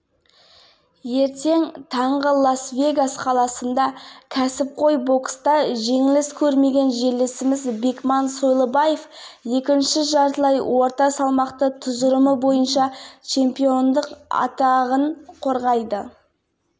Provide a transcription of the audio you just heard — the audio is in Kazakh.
бокс шоуы алдында бекман сойлыбаев жерлестеріне сәлемдеме жолдаған болатын назарларыңызға ұсынамыз ақмолалық меценаттар аймақта рухани жаңғыру